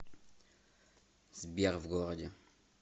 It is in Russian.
сбер в городе